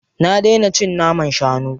Na daina cin naman shanu.